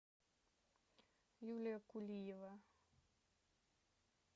юлия кулиева